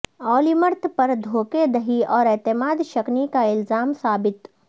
Olmert پر دھوکہ دہی اور اعتماد شکنی کا الزام ثابت